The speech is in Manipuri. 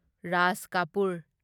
ꯔꯥꯖ ꯀꯥꯄꯨꯔ